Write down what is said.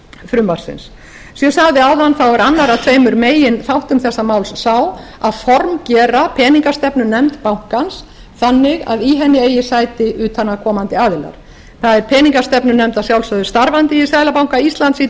frumvarpsins eins og ég sagði áðan er annar af tveimur meginþáttum þessa máls sá að formgera peningastefnunefnd bankans þannig að í henni eigi sæti utanaðkomandi aðilar það er peningastefnunefnd að sjálfsögðu starfandi í seðlabanka íslands í